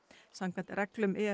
samkvæmt reglum